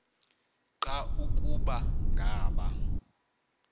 nqa ukuba ngaba